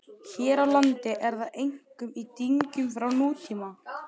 Hér á landi er það einkum í dyngjum frá nútíma.